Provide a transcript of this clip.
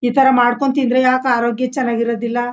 ಈ ತರ ಮಾಡ್ಕೊಂತಿಂದ್ರೆ ಯಾಕೆ ಆರೋಗ್ಯ ಚೆನ್ನಾಗಿರದಿಲ್ಲ.